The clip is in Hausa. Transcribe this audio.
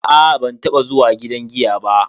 A'a ban taba zuwa gidan giya ba.